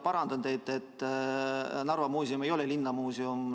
Parandan teid: Narva Muuseum ei ole linnamuuseum.